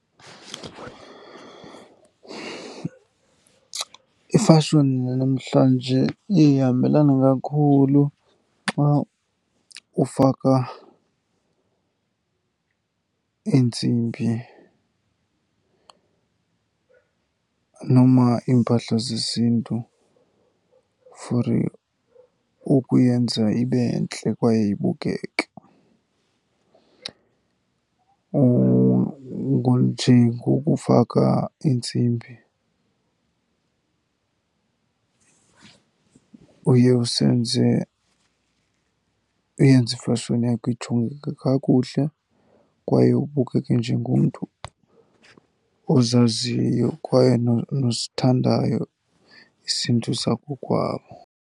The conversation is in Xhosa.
Ifashoni yanamhlanje ihambelana kakhulu xa ufaka iintsimbi noma iimpahla zesiNtu for ukuyenza ibe ntle kwaye ibukeke. Nje ngokufaka iintsimbi uye usenze, uyenze ifashoni yakho ijongeke kakuhle kwaye ubukeke njengomntu ozaziyo kwaye nosithandayo isiNtu sakokwabo.